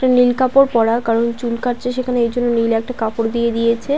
একটা নীল কাপড় পরা কারণ চুল কাটছে সেখানে এই জন নীল একটা কাপড় দিয়ে দিয়েছে।